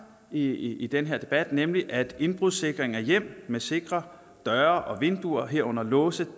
i i den her debat nemlig at indbrudssikring af hjem med sikre døre og vinduer herunder låse